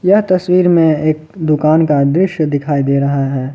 यह तस्वीर में एक दुकान का दृश्य दिखाई दे रहा है।